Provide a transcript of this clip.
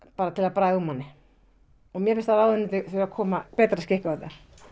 bara til að bræða úr manni og mér finnst að ráðuneytið þurfi að koma betra skikki á þetta